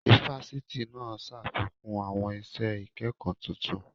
Ifásitì náà ṣàfikún àwọn iṣẹ́ ìkẹ́kọ tuntun